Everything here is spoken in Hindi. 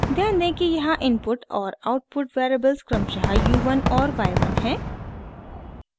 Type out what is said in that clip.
ध्यान दें कि यहाँ इनपुट और आउटपुट वेरिएबल्स क्रमशः u1 और y1 हैं